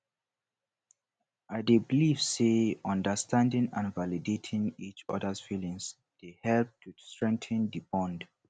i dey believe say understanding and validating each others feelings dey help to strengthen di bond